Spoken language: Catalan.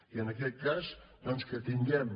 i en aquest cas doncs que tinguem